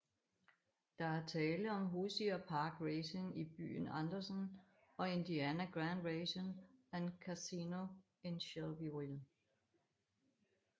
Der er tale om Hoosier Park Racing i byen Andersen og Indiana Grand Racing and Casino i Shelbyville